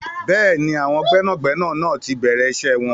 Bẹ́ẹ̀ni, àwọn gbẹ́nàgbẹnà náà ti bẹ̀rẹ̀ iṣẹ́ wọn.